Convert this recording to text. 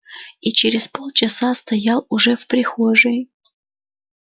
и через полчаса стоял уже в прихожей